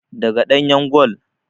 Daga ɗanyan gol